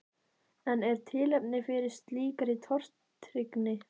En er tilefni fyrir slíkri tortryggni?